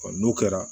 n'o kɛra